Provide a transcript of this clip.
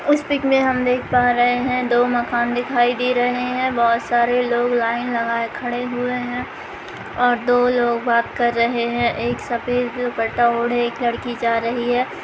इस पिक में हम देख प् रहे हैं दो माकन दिखाई दे रहे हैं बहुत सरे लोग लाइन लगाए खड़े हुए हैं और दो लोग बार कर रहे हैं एक सफ़ेद दुपटा ओढ़े एक लड़की जा रही है ।